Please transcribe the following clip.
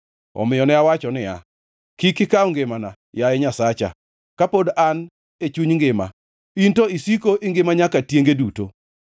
Omiyo ne awacho niya, “Kik ikaw ngimana, yaye Nyasacha, kapod an e chuny ngima; in to isiko ingima nyaka tienge duto.